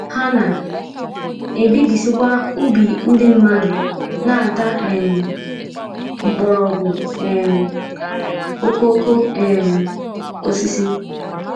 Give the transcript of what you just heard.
Ha na - ebibisịkwa ubi ndị mmadụ, na - ata um mkpọrọgwụ um okooko um osisi.